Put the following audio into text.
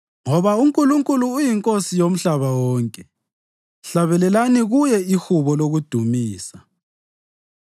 Ngoba uNkulunkulu uyiNkosi yomhlaba wonke; hlabelelani kuye ihubo lokudumisa.